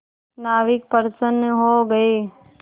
नाविक प्रसन्न हो गए